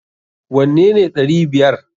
Wanne ne ɗari biyar!